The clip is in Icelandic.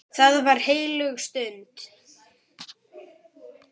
Það var heilög stund.